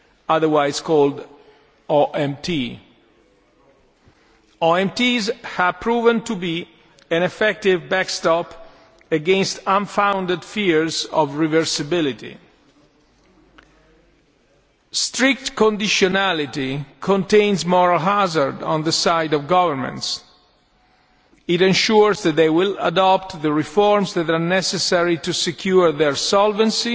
otherwise called OMTs. These have proved to be an effective backstop against unfounded fears of reversibility. Strict conditionality contains moral hazard on the side of governments. It ensures that they will adopt the reforms that are necessary to secure their solvency